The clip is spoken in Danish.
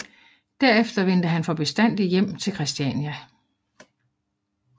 Derefter vendte han for bestandig hjem til Christiania